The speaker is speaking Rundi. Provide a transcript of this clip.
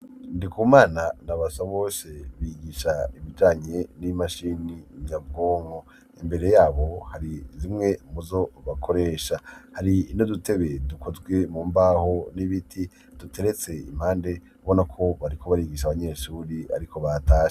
ndikumana na basabose bigisha ibijanye n'imashini nyabwonko. imbere yabo hari zimwe muzo bakoresha. hari n'udutebe dukozwe mu mbaho n'ibiti, duteretse impande, ubona ko bariko barigisha abanyeshuri ariko batashe.